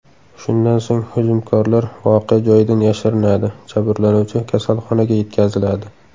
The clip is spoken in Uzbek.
Shundan so‘ng hujumkorlar voqea joyidan yashirinadi, jabrlanuvchi kasalxonaga yetkaziladi.